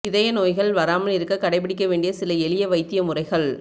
இதய நோய்கள் வராமல் இருக்க கடைபிடிக்க வேண்டிய சில எளிய வைத்திய முறைகள்